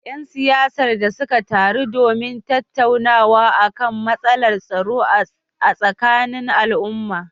‘Yan siyasar da suka taru domin tattaunawa kan matsalar tsaro a tsakanin al’umma